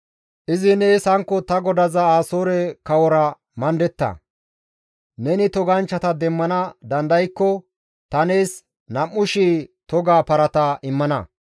«Izi nees hankko ta godaza Asoore kawora mandetta; neni toganchchata demmana dandaykko ta nees 2,000 toga parata immana.